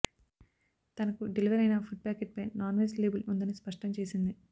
తనకు డెలివర్ అయిన food packet పై నాన్వెజ్ లేబుల్ ఉందని స్పష్టం చేసింది